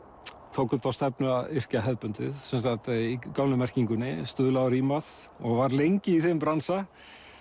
tók upp þá stefnu að yrkja hefðbundið í gömlu merkingunni stuðlað og rímað og var lengi í þeim bransa